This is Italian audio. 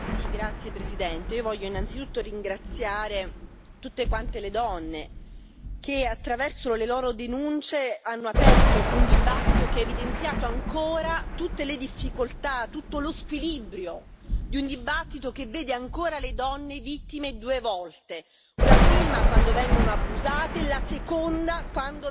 Signora Presidente, onorevoli colleghi, voglio innanzitutto ringraziare tutte le donne che, attraverso le loro denunce, hanno aperto un dibattito che ha evidenziato ancora tutte le difficoltà, tutto lo squilibrio, di un dibattito che vede ancora le donne vittime due volte